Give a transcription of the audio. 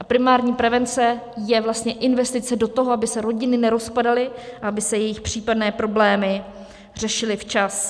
A primární prevence je vlastně investice do toho, aby se rodiny nerozpadaly a aby se jejich případné problémy řešily včas.